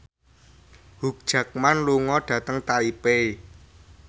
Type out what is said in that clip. Hugh Jackman lunga dhateng Taipei